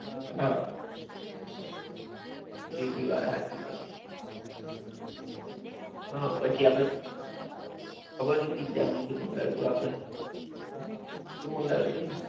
હા swiggy વાળા હાજી વાત અ પછી આપડે ખબર છે pizza હું થી મંગાયું થું આપડે શું મંગાયું થું